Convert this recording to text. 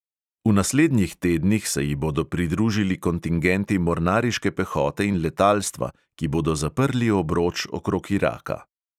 V naslednjih tednih se ji bodo pridružili kontingenti mornariške pehote in letalstva, ki bodo zaprli obroč okrog iraka.